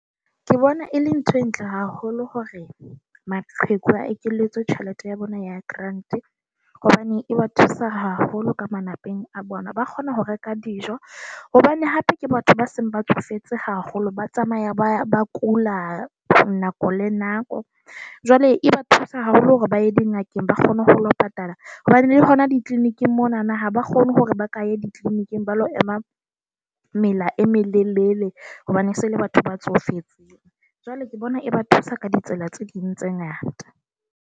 Ke bona e le ntho e ntle haholo hore maqheku a ekeletswe tjhelete ya bona ya grant hobane e ba thusa haholo ka malapeng a bona. Ba kgona ho reka dijo hobane hape ke batho ba seng ba tsofetse haholo, ba tsamaya ba ba kula nako le nako. Jwale e ba thusa haholo hore ba ye dingakeng, ba kgone ho hora ho patala hobane hona di-clinic-ng monana ha ba kgone hore ba ka ya di-clinic-ng ba lo ema mela e melelele hobane se le batho ba tsofetseng. Jwale ke bona e ba thusa ka ditsela tse ding tse ngata.